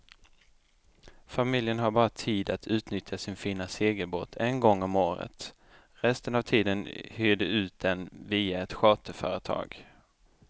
Familjen har bara tid att utnyttja sin fina segelbåt en gång om året, resten av tiden hyr de ut den via ett charterföretag.